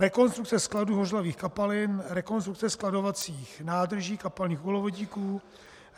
rekonstrukce skladů hořlavých kapalin; rekonstrukce skladovacích nádrží kapalných uhlovodíků;